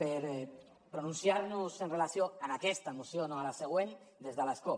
per pronunciar nos amb relació a aquesta moció no a la següent des de l’escó